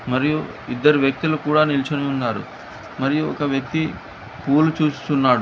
మరియు ఇద్దరు వ్యక్తులు కూడా నిల్చుని ఉన్నారు. మరియు ఒక వ్యక్తి పూలు చూస్తున్నాడు.